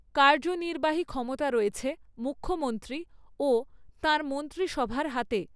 কার্যনির্বাহী ক্ষমতা রয়েছে মুখ্যমন্ত্রী ও তাঁর মন্ত্রিসভার হাতে।